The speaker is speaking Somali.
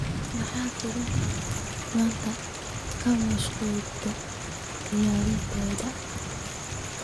maxaa filimada maanta ka muuqda tiyaatarada